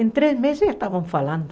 Em três meses eles estavam falando.